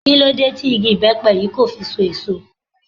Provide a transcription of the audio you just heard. Kí ló dé tí igi ibepe yìí kò fi so èso?